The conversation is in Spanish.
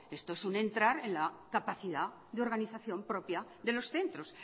esto es un entrar en la capacidad de organización propia de los centros